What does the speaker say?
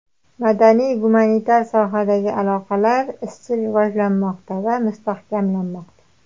Madaniy-gumanitar sohadagi aloqalar izchil rivojlanmoqda va mustahkamlanmoqda.